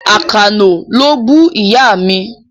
Àkànó ló bú Ìyá mi.